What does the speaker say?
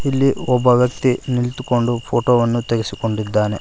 ಇಲ್ಲಿ ಒಬ್ಬ ವ್ಯಕ್ತಿ ನಿಂತುಕೊಂಡು ಫೋಟೋ ವನ್ನು ತೆಗೆಸಿಕೊಂಡಿದ್ದಾನೆ.